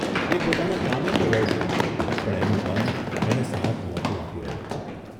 એ પોતાના કામે તો વળગ્યો, પણ એનું મન એને સાથ નહોતું આપી રહ્યું.